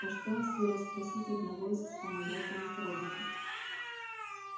а что если расспросить одного из вспомогательных роботов